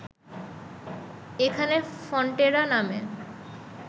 এখানে ফন্টেরা নামে